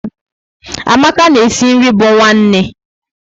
Amaka na e si nri bu nwanne